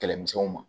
Kɛlɛmisɛnw ma